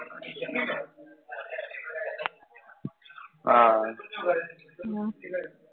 હા